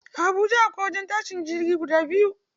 A Habuja akwai wajen tashin jirage guda biyu.